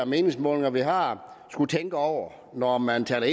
meningsmålinger vi har skulle tænke over når man taler